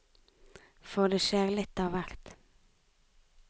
For det skjer litt av hvert.